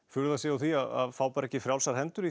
furða sig á því að fái ekki frjálsar hendur